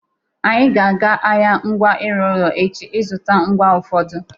Anyị ga-aga ahịa ngwa ịrụ ụlọ echi ịzụta ngwa ụfọdụ.